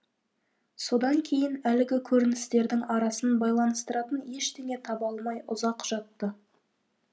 содан кейін әлгі көріністердің арасын байланыстыратын ештеңе таба алмай ұзақ жатты